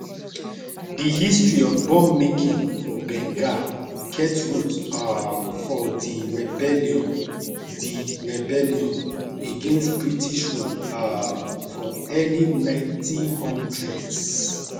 di history of bombmaking for bengal get root um for di rebellion di rebellion against british rule um for early 1900s